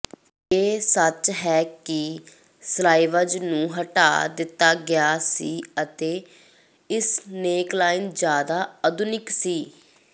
ਇਹ ਸੱਚ ਹੈ ਕਿ ਸਲਾਈਵਜ਼ ਨੂੰ ਹਟਾ ਦਿੱਤਾ ਗਿਆ ਸੀ ਅਤੇ ਇਸਨੇਕਲਾਈਨ ਜ਼ਿਆਦਾ ਆਧੁਨਿਕ ਸੀ